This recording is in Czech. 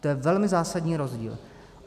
To je velmi zásadní rozdíl.